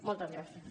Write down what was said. moltes gràcies